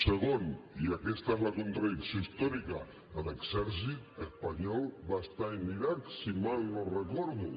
segon i aquesta és la contradicció històrica l’exèrcit espanyol va estar en l’iraq si mal no ho recordo